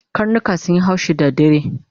Karnika sunyi haushi da dare